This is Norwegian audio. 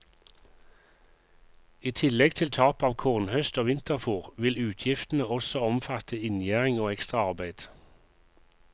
I tillegg til tap av kornhøst og vinterfôr vil utgiftene også omfatte inngjerding og ekstraarbeid.